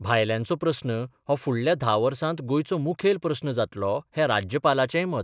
भायल्यांचो प्रस्न हो फुडल्या धा वर्सात गोंयचो मुखेल प्रस्न जातलो हें राज्यपालाचेंय मत.